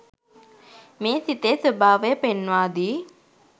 මේ සිතේ ස්වභාවය පෙන්වාදී